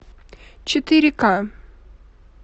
четыре ка